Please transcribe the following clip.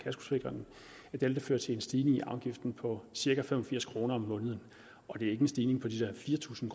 vil det føre til en stigning i afgiften på cirka fem og firs kroner om måneden det er ikke en stigning på de der fire tusind